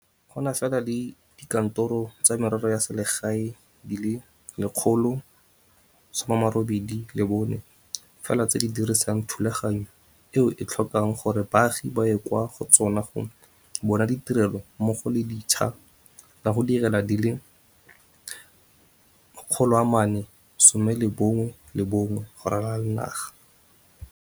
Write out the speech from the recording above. Go na fela le dikantoro tsa merero ya selegae di le 184 fela tse di dirisang thulaganyo eo e tlhokang gore baagi ba ye kwa go tsona go bona ditirelo mmogo le ditsha tsa go direla di le 411 go ralala naga.